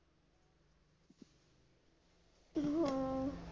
ਹਮ